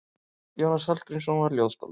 Jónas Hallgrímsson var ljóðskáld.